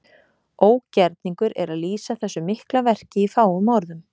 Ógerningur er að lýsa þessu mikla verki í fáum orðum.